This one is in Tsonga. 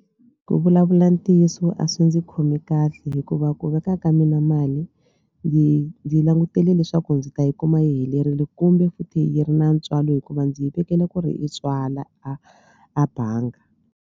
Ku vulavula ntiyiso a swi ndzi khomi kahle hikuva ku veka ka mina mali ndzi ndzi langutele leswaku ndzi ta yi kuma yi helerile kumbe futhi yi ri na ntswalo hikuva ndzi yi vekele ku ri yi tswala a a banga.